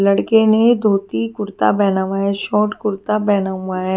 लड़के ने धोती कुर्ता पहना हुआ है शॉर्ट कुर्ता पहना हुआ है।